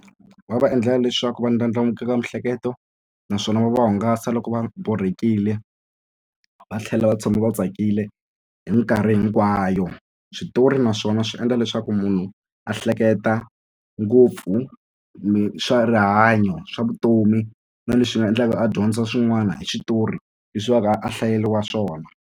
Va va endlela leswaku va ndlandlamukeka miehleketo naswona va va hungasa loko va borhekile va tlhela va tshama va tsakile hi mikarhi hinkwayo switori naswona swi endla leswaku munhu a hleketa ngopfu swa rihanyo swa vutomi na leswi nga endlaka a dyondza swin'wana hi switori leswi va ka a hlayeriwa swona.